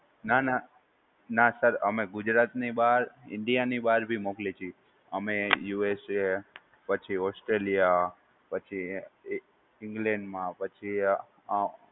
નાં નાં. ના સર અમે ગુજરાતની બાર, ઇન્ડિયાની બાર બી મોકલીએ છીએ. અમે યૂુએસએ પછી ઓસ્ટ્રેલિયા પછી ઇંગ્લેન્ડ માં પછી અં